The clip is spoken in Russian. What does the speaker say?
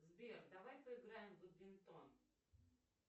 сбер давай поиграем в бадминтон